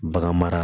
Bagan mara